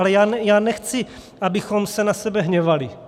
Ale já nechci, abychom se na sebe hněvali.